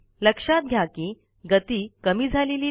लक्षात घ्या कि गती कमी झालेली नाही